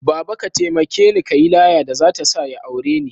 Baba! ka taimakeni kayi laya da zata sa ya aure ni